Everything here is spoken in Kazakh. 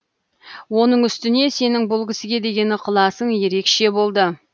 оның үстіне сенің бұл кісіге деген ықыласың ерекше болды